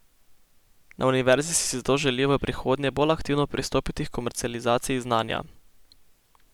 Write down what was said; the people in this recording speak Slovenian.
Na univerzi si zato želijo v prihodnje bolj aktivno pristopiti h komercializaciji znanja.